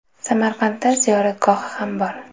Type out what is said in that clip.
Samarqandda ziyoratgohi ham bor.